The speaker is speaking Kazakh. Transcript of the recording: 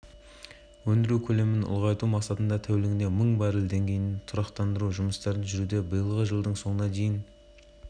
атырауға жұмыс сапарымен барған қазақстан президенті нұрсұлтан назарбаев қашаған кен орнының ресми ашылу шарасына қатысты деп